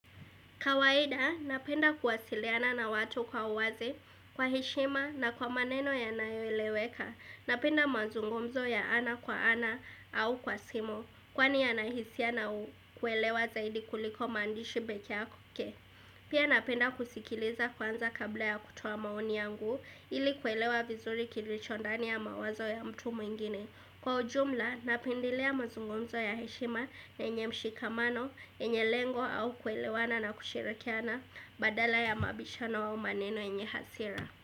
Kawaida, napenda kuwasiliana na watu kwa uwazi, kwa heshima na kwa maneno ya nayoeleweka, napenda mazungumzo ya ana kwa ana au kwa simu, kwani ya nahisia na kuwelewa zaidi kuliko maandishi pekee yake. Pia napenda kusikiliza kwanza kabla ya kutoa maoni yangu ili kuelewa vizuri kilichondani ya mawazo ya mtu mwingine. Kwa ujumla napendilea mazungumzo ya heshima na yenye mshikamano, enye lengo au kuelewana na kushirikiana badala ya mabishano au maneno yenye hasira.